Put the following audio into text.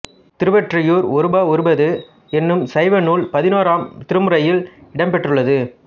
திருவொற்றியூர் ஒருபா ஒருபது என்னும் சைவ நூல் பதினோராம் திருமுறையில் இடம்பெற்றுள்ளது